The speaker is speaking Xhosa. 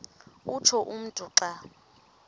utsho umntu xa